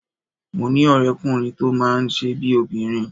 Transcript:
Mo ní ọ̀rẹ́kùnrin tó máa ń ṣe bíi obìnrin